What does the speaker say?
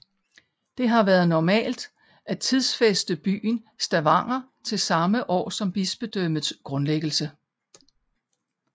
Det har været normalt at tidsfæste byen Stavanger til samme år som bispedømmets grundlæggelse